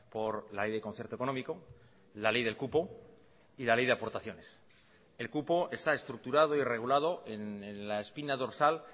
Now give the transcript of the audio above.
por la ley de concierto económico la ley del cupo y la ley de aportaciones el cupo está estructurado y regulado en la espina dorsal